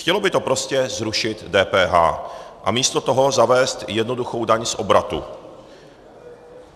Chtělo by to prostě zrušit DPH a místo toho zavést jednoduchou daň z obratu.